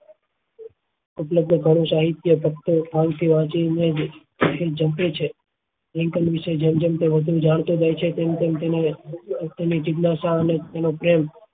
ઉપલબ્ધ પ્રણવ સાહિત્ય તત્વો ચક્ર છે લિંકન વિશે જેમ જેમ તે વધુ જાણતો જાય છે તેમ તેમ તેમને લોકો ની જીજ્ઞાસા અને તેના પ્રેમ